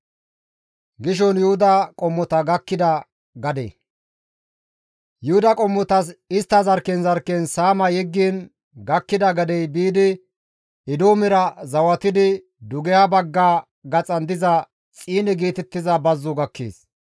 Yuhuda qommotas istta zarkken zarkken saama yeggiin gakkida gadey biidi Eedoomera zawatidi, dugeha bagga gaxan diza Xiine geetettiza bazzo gakkees.